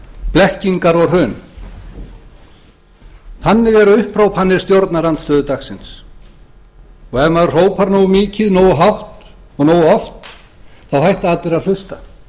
blekkingar og hrun þannig eru upphrópanir stjórnarandstöðu dagsins og ef maður hrópar nógu mikið nógu hátt og nógu oft hætta allir að hlusta